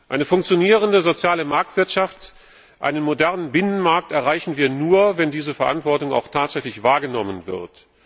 Eine funktionierende soziale Marktwirtschaft, einen modernen Binnenmarkt erreichen wir nur, wenn diese Verantwortung auch tatsächlich wahrgenommen wird.